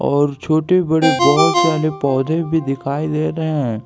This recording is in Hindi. और छोटे बड़े बहोत सारे पौधे भी दिखाई दे रहे--